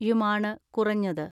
യുമാണ് കുറഞ്ഞത്.